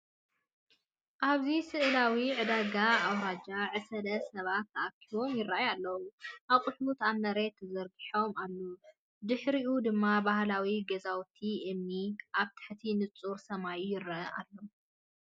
ኣብዚ ስእላዊ ዕዳጋ ኣውራጃ ዕስለ ሰባት ተኣኪቦም ይራኣዩ ኣለው። ኣቑሑት ኣብ መሬት ተዘርጊሑ ኣሎ፡ ድሒሩ ድማ ባህላዊ ገዛውቲ እምኒ ኣብ ትሕቲ ንጹር ሰማይ ይረአ ኣሎ።